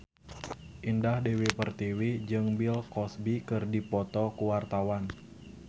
Indah Dewi Pertiwi jeung Bill Cosby keur dipoto ku wartawan